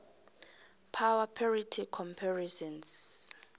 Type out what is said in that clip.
power parity comparisons